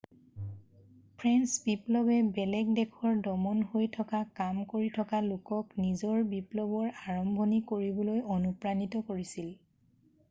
French বিপ্লৱে বেলেগ দেশৰ দমন হৈ থকা কাম কৰি থকা লোকক নিজৰ বিপ্লৱৰ আৰম্ভণি কৰিবলৈ অনুপ্ৰাণিত কৰিছিল